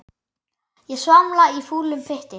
Ég svamla í fúlum pytti.